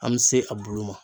An mi se a bulu ma.